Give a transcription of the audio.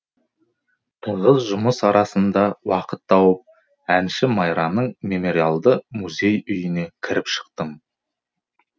тығыз жұмыс арасында уақыт тауып әнші майраның мемориалды музей үйіне кіріп шықтым